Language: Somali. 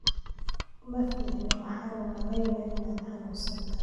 Ma fiicni, waxaan u malaynayaa inaan xanuunsanahay